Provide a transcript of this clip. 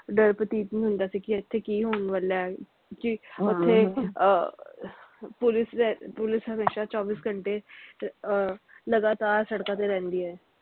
ਡਰ ਪ੍ਰਤੀਤ ਨੀ ਹੁੰਦਾ ਸੀ ਕੀ ਇਥੇ ਕੀ ਹੋਣ ਵਾਲਾ ਕਿ ਉਥੇ ਆਹ police ਦਾ police ਹਮੇਸ਼ਾ ਚੌਵੀ ਘੰਟੇ ਅਹ ਲਗਾਤਾਰ ਸੜਕਾਂ ਤੇ ਰਹਿੰਦੀ ਐ